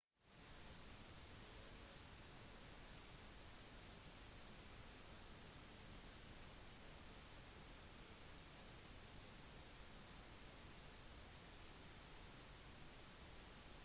atten hull spilles på en vanlig runde og spillere starter som oftest på det første hullet på banen og avslutter på det attende